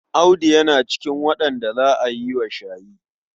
Audu yana cikin waɗanda za a yi wa shayi.